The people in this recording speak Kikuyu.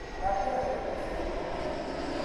Thambia wega indo cia gũkamĩra.